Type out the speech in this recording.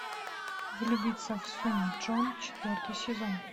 влюбиться в сун чжон четвертый сезон